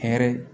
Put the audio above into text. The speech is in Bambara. Hɛrɛ